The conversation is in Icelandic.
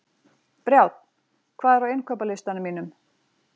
Brjánn, hvað er á innkaupalistanum mínum?